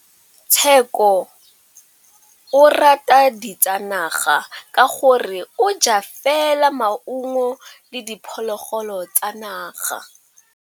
Tshekô o rata ditsanaga ka gore o ja fela maungo le diphologolo tsa naga.